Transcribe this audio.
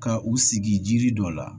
Ka u sigi jiri dɔ la